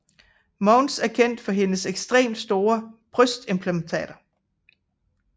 Mounds er kendt for hendes ekstremt store brystimplantater